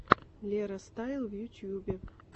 лера стайл в ютьюбе